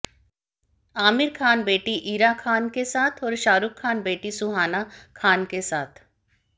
आमिर खान बेटीइरा खान के साथ और शाहरुख़ खान बेटी सुहाना खान के साथ